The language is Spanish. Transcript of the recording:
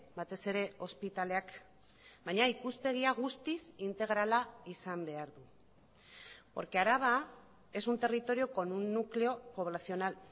batez ere ospitaleak baina ikuspegia guztiz integrala izan behar du porque araba es un territorio con un núcleo poblacional